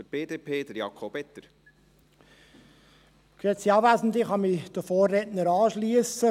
Ich kann mich den Vorrednern anschliessen.